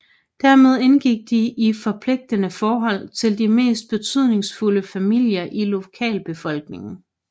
Dermed indgik de i forpligtende forhold til de mest betydningsfulde familier i lokalbefolkningen